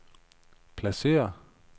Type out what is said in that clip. pladsér